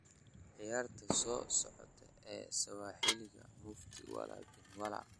ciyaarta soo socota ee sawaaxiliga mufti wala bin wala